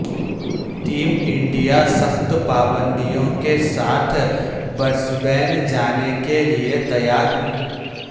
team India سخت پابندیوں کے ساتھ برسبین جانے کے لئے تیار نہیں